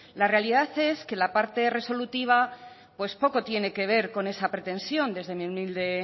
la realidad es que la parte resolutiva pues poco tiene que ver con esa pretensión desde mi humilde